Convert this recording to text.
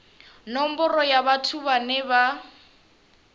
nomboro ya vhathu vhane vha